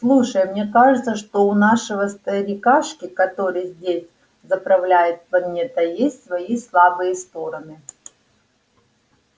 слушай мне кажется что у нашего старикашки который здесь заправляет планетой есть свои слабые стороны